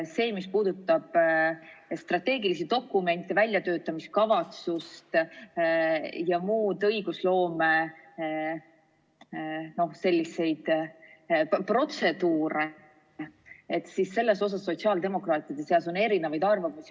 Selles, mis puudutab strateegilisi dokumente, väljatöötamiskavatsust ja muid õigusloome protseduure, on sotsiaaldemokraatide seas erinevaid arvamusi.